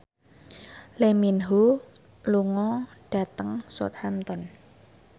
Lee Min Ho lunga dhateng Southampton